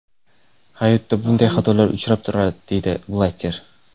Hayotda bunday xatolar uchrab turadi, deydi Blatter.